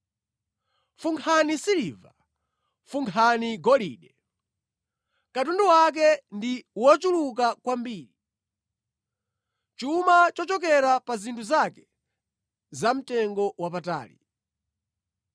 Funkhani siliva! Funkhani golide! Katundu wake ndi wochuluka kwambiri, chuma chochokera pa zinthu zake zamtengowapatali!